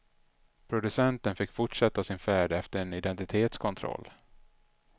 Producenten fick fortsätta sin färd efter en identitetskontroll.